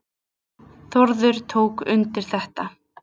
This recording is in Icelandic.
Þórður tók undir þetta.